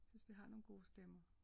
Synes vi har nogle gode stemmer